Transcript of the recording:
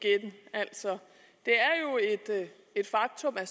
altså et faktum at